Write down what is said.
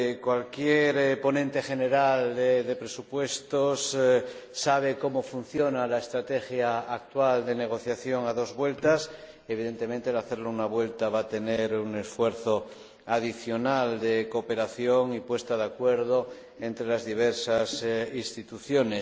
Cualquier ponente general de presupuestos sabe cómo funciona la estrategia actual de negociación a dos vueltas evidentemente, hacerlo en una vuelta va a suponer un esfuerzo adicional de cooperación y puesta de acuerdo entre las diversas instituciones.